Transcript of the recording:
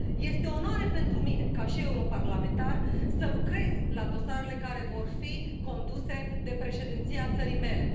Este o onoare pentru mine, ca și europarlamentar, să lucrez la dosarele care vor fi conduse de Președinția țării mele.